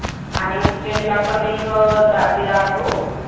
उज्जैनला पण एक दाजी राहतो.